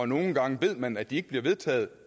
nogle gange ved man at de ikke bliver vedtaget